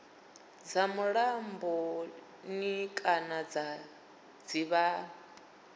dza mulamboni kana dza dzivhani